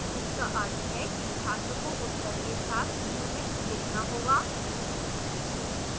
इसका अर्थ है कि छात्र को उत्तर के साथ unit लिखना होगा